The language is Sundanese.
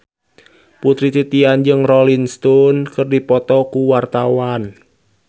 Putri Titian jeung Rolling Stone keur dipoto ku wartawan